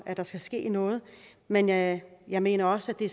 at der skal ske noget men jeg jeg mener også at det